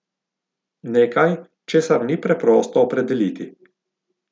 Nekaj, česar ni preprosto opredeliti.